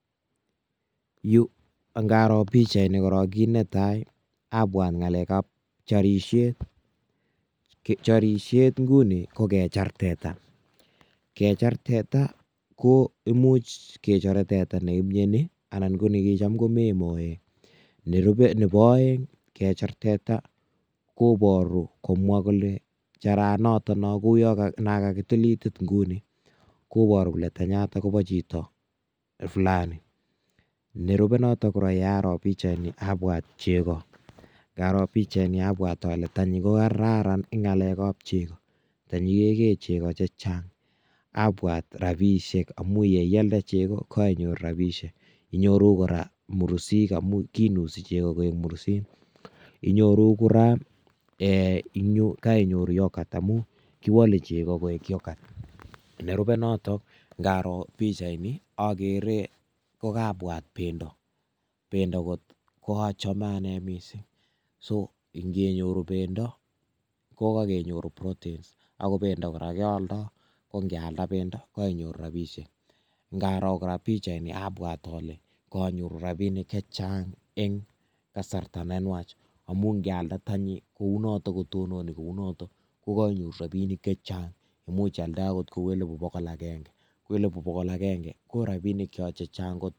yuu angaroo pichait nii kiit netaii, abwaat ngaleek ab chorisheet , chorisheet nguni kokechaar teeta, kechaar teta ko imuch kechore teta neimnyoni anan ko negichaam komeen moet, nerube nebo oeng koboruu komwaa kole charaat noton noogu nankagitil iitit nguni koboru kole tenyaatan kobo chito flaani, nerube noton yearoo bichait nii abwaat chego yearoo pichait nii abwaat ole tanyii kogararan en ngaleek ab chego tanyii keegee chego chechang abwaat rabishek omuun yeialde chego kainyoor rabishek, inyoruu koraa mursiik amuun kiinusi chego koek mursiik, inyoruu kora {um] eeeh um koinyoruu yoogat amun kiwole chego koek yogaat , nerube noton ngaroo pichait nii ogeree kogabwaat bendo , bendo koochome anee mising so ingenyoor beendo kogagenyoor proteins ago beendo koraa keoldoo kongealda bendo kogagenyoor rabishek, ngaroo pichait nii abwaat ole kanyoruu rabinik chechang en kasarta nenwaach amuun ngealda tenyii kouunoton kotononi koounoton kogainyoruu rabinik chechaang amuun chaalda agoot kouu eliibu bogool agenge koo eliibu bogool agenge korabinik choon chechang koot.